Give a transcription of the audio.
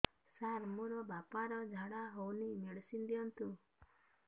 ସାର ମୋର ବାପା ର ଝାଡା ଯାଉନି ମେଡିସିନ ଦିଅନ୍ତୁ